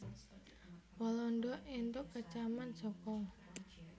Walanda entuk kecaman saka